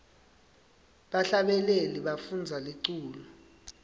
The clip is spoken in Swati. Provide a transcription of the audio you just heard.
bahlabeleli bafundza liculo